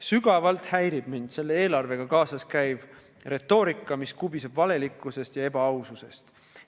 Sügavalt häirib mind selle eelarvega kaasas käiv retoorika, mis kubiseb valelikkusest ja ebaaususest.